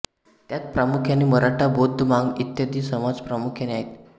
त्यात प्रामुख्याने मराठा बौद्ध मांग इत्यादी समाज प्रामुख्याने आहेत